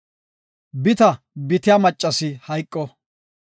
“Bita bitiya maccasi hayqo.